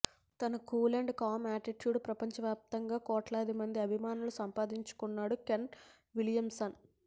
తన cool and calm యాటిట్యూడ్తో ప్రపంచవ్యాప్తంగా కోట్లాది మంది అభిమానులను సంపాదించుకున్నాడు కేన్ విలియంసన్